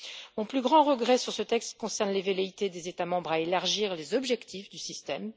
Mon plus grand regret sur ce texte concerne les velléités des États membres d'élargir les objectifs du système.